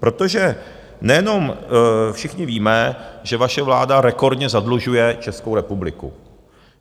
Protože nejenom všichni víme, že vaše vláda rekordně zadlužuje Českou republiku.